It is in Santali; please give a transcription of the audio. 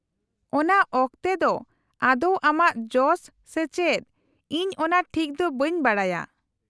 -ᱚᱱᱟ ᱚᱠᱛᱮ ᱫᱚ ᱟᱫᱳᱣ ᱟᱢᱟᱜ ᱡᱚᱥ ᱥᱮ ᱪᱮᱫ ᱤᱧ ᱚᱱᱟ ᱴᱷᱤᱠ ᱫᱚ ᱵᱟᱹᱧ ᱵᱟᱰᱟᱭᱟ ᱾